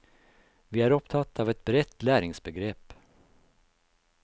Vi er opptatt av et bredt læringsbegrep.